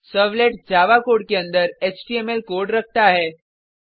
servlets Java code के अंदर HTML code रखता है